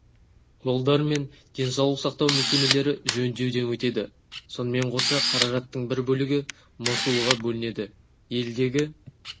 жолдар мен денсаулық сақтау мекемелері жөндеуден өтеді сонымен қоса қаражаттың бір бөлігі мосулға бөлінеді елдегі